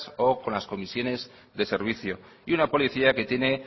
o con las comisiones de servicio y una policía que tiene